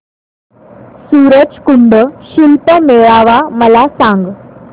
सूरज कुंड शिल्प मेळावा मला सांग